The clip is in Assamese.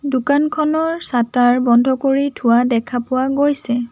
দোকানখনৰ ছাতাৰ বন্ধ কৰি থোৱা দেখা পোৱা গৈছে।